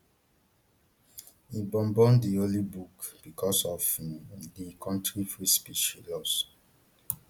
im burn burn di holy book bicos of um di kontri freespeech laws